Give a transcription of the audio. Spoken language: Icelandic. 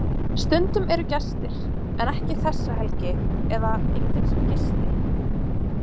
Stundum eru gestir en ekki þessa helgi eða enginn sem gisti.